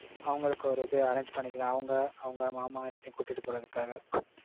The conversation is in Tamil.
அவங்களுக்கு ஒரு இது arrange பண்ணிக்கலாம். அவங்க, அவங்க மாமா எல்லாத்தயும் கூட்டிட்டு போறதுக்காக.